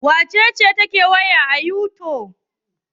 Wace ce take hawa youtube?